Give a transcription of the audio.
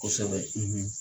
Kosɛbɛ,